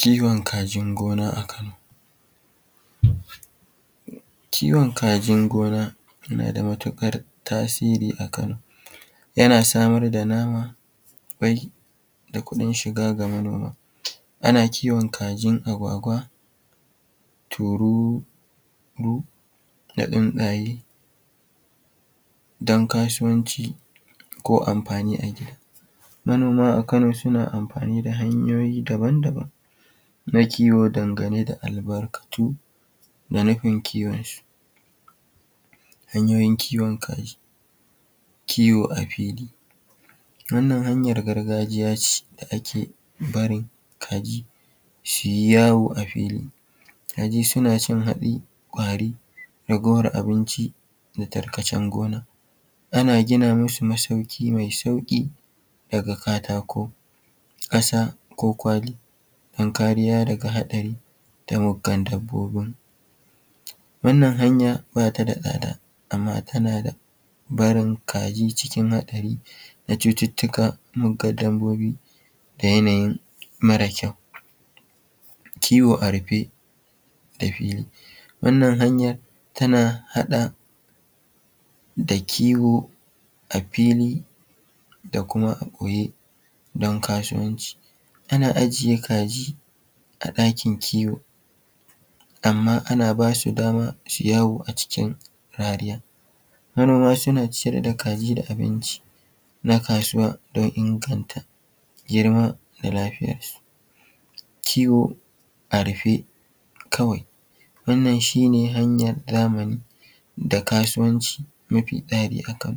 Kiwon kajin gona a Kano. Kiwon kajin gona yana da matuƙar tasiri a Kano, yana samar da nama, ƙwai da kuɗin shiga ga manoma. Ana kiwon kajin agwagwa, tururu da tsuntsaye don kasuwanci ko amfani a gida. Manoma a Kano suna amfani da hanyoyi daban-daban na kiwo dangane da albarkatu da nufin kiwonsu. Hanyoyin kiwon kaji: Kiwo a fili; wannan hanyar gargajiya ce da ake barin kaji su yi yawo a fili. Kaji suna cin hatsi, ƙwari, raguwar abinci da tarkacen gona. Ana gina masu masauƙi mai sauƙi daga katako, ƙasa ko kwali don kariya daga haɗari da muggan dabbobin. Wannan hanya ba ta da tsada amma tana da barin kaji cikin haɗari, cututtuka, muggan dabbobi da yanayin mara kyau. Kiwo a rufe da fili: Wannan hanyar tana haɗa da kiwo a fili da kuma a ɓoye don kasuwanci. Ana ajiye kaji a ɗakin kiwo amma ana basu dama su yi yawo acikin rariya. Manoma suna ciyar da kaji da abinci na kasuwa don inganta girma da lafiyarsu. Kiwo a rufe kawai: Wannan shi ne hanyar zamani da kasuwanci mafi tsari haka,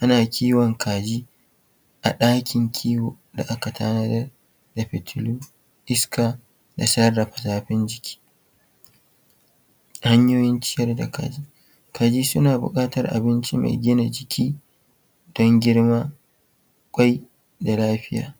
ana kiwon kaji a ɗakin kiwo da aka tanadar da fitilu, iska da sarrafa zafin jiki. Hanyoyin ciyar da kaji: Kaji suna buƙatar abinci mai gina jiki don girma, ƙwai da lafiya.